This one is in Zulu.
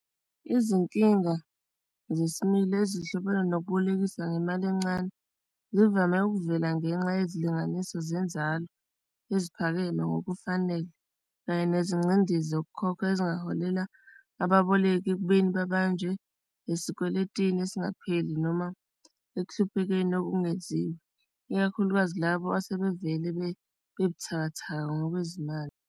Izinkinga zesimile ezihlobene nokubolekisa ngemali encane zivame ukuvela ngenxa yezilinganiso zenzalo eziphakeme ngokufanele kanye nezingcindezi zokukhokha ezingaholela ababoleki ekubeni babanjwe nezikweletini ezingapheli noma ekuhluphekeni okungeziwa ikakhulukazi labo asebevele bebuthakathaka ngokwezimali.